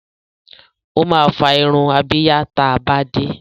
Ó máa fá irun abíyá ta bá dé.